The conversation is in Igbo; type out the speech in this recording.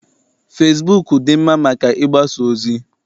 Fesibuuku dị mma maka ịgbasa ozi.